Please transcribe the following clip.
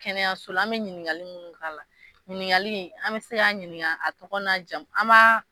Kɛnɛya sola anbe ɲinikali ɲininialo ɲinili